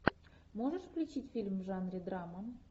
можешь включить фильм в жанре драма